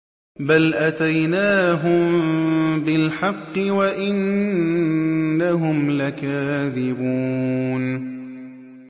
بَلْ أَتَيْنَاهُم بِالْحَقِّ وَإِنَّهُمْ لَكَاذِبُونَ